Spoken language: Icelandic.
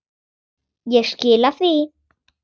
Ég skila því.